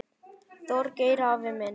Þorgeir afi minn.